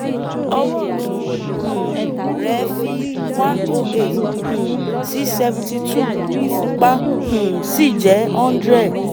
ọwọ́ ọ̀tún um rẹ̀ fi 108 um sí 72 ìfúnpá um sì jẹ́ 100